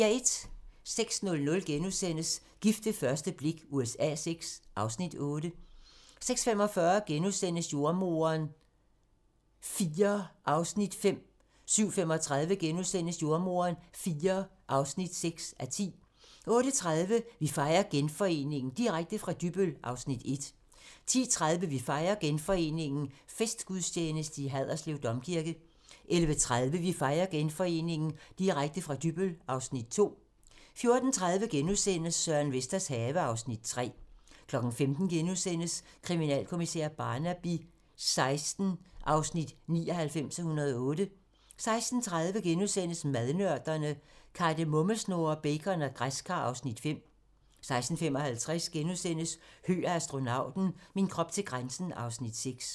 06:00: Gift ved første blik USA VI (Afs. 8)* 06:45: Jordemoderen IV (5:10)* 07:35: Jordemoderen IV (6:10)* 08:30: Vi fejrer Genforeningen - direkte fra Dybbøl (Afs. 1) 10:30: Vi fejrer Genforeningen - Festgudstjeneste i Haderslev Domkirke 11:30: Vi fejrer Genforeningen - Direkte fra Dybbøl (Afs. 2) 14:30: Søren Vesters have (Afs. 3)* 15:00: Kriminalkommissær Barnaby XVI (99:108)* 16:30: Madnørderne - Kardemommesnurrer, bacon og græskar (Afs. 5)* 16:55: Høgh og astronauten - min krop til grænsen (Afs. 6)*